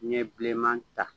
Ɲɛ bilenman ta